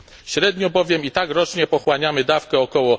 Średnio bowiem i tak rocznie pochłaniamy dawkę ok.